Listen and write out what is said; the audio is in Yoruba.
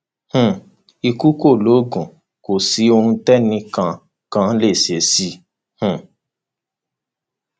um ikú kọ loògùn kò sí ohun tẹnìkan kan lè ṣe sí i um